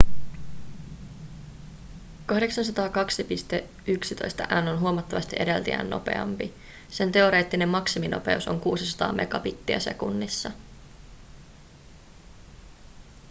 802.11n on huomattavasti edeltäjiään nopeampi sen teoreettinen maksiminopeus on 600 megabittiä sekunnissa